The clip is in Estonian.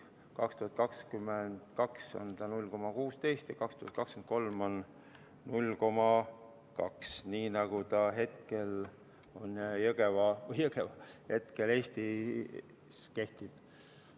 2022. aastal on see 0,16 ja 2023. aastal 0,2, nii nagu ta hetkel Eesti kehtib.